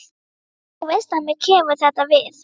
Þú veist að mér kemur þetta við.